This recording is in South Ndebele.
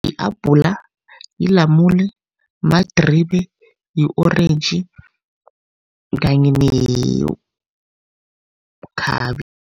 I-abhula, yilamule, madribe, yi-orentji kanye nekhabe.